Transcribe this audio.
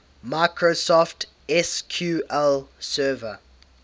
microsoft sql server